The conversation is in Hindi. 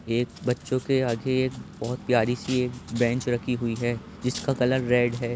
एक बच्चों के आगे एक बहुत प्यारी सी एक बेंच रखी हुई है जिसका कलर रेड है।